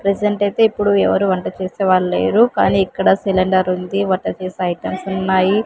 Present అయితే ఇప్పుడు ఎవరు వంట చేసే వాళ్ళు లేరు కానీ ఇక్కడ సిలిండరుంది వంట చేసే ఐటమ్స్ ఉన్నాయి.